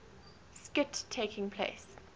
skit taking place